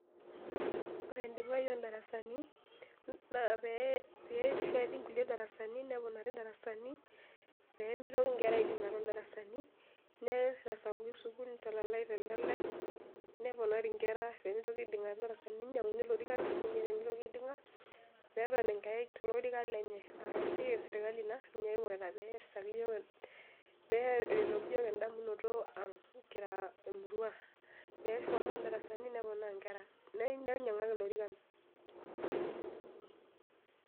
Ore endipae ondarasani na pesheti ngulie darasani neponari ndarasani pemitoki nkera aidinga tondarasani nemitasapuki sukul nitalale telalae neponari nkera pemitoki aidinga tedarasa ninyanguni lorikan peton enkerai tolorika lenye aa esiai eserkali ina ina kingorita peretoki yiok endamunoto aang kira emuruapeponaa ndarasani neponari nkera neponaa lorikan.